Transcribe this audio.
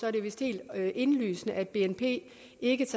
er det vist helt indlysende at bnp ikke tager